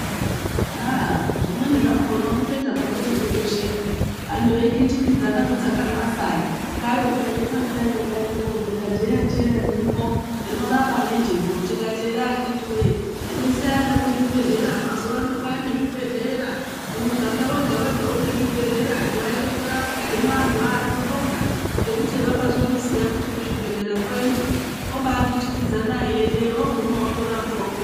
Aah zvimweni zvakhona unotoita hako nekutosheka, antu eikhitikidzana kudzaka mwaSaye. Kwai ukaende kwaSaye ukayende koovhera jeyacheya ririmwo rinorapa nejeko tikati ere akhiti wee endesai ana kuzvibhehlera. Mazuwa ano kwaane zvibhedhlera, muganga wegawega une zvibhedhlera antu aende koorapwa, hino antu aa tinobonga ngekuti hava kazozviziya kuti kuzvibhehlera kwoendwa obaa kitikidzana eiyendeyo ooguma otora pwawopo.